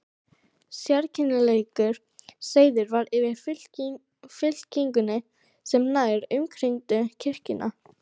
Sérkennilegur seiður var yfir fylkingunni sem nær umkringdi kirkjuna.